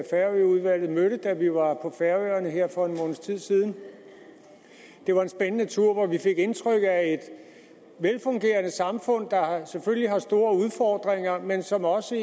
færøudvalget mødte da vi var på færøerne for en måneds tid siden det var en spændende tur hvor vi fik indtryk af et velfungerende samfund der selvfølgelig har store udfordringer men som også